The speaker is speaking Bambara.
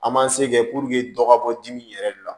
An man se kɛ dɔ ka bɔ dimi yɛrɛ de la